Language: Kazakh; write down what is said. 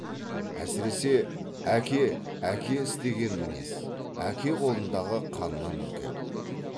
әсіресе әке әке істеген мінез әке қолындағы қаннан үркеді